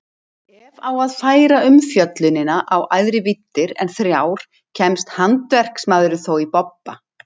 Ef á að færa umfjöllunina í æðri víddir en þrjár kemst handverksmaðurinn þó í bobba.